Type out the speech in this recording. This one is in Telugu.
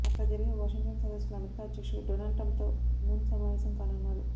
అక్కడ జరిగే వాషింగ్టన్ సదస్సులో అమెరికా అధ్యక్షుడు డొనాల్డ్ ట్రంప్తో మూన్ సమావేశం కానున్నారు